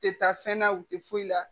U tɛ taa fɛn na u tɛ foyi la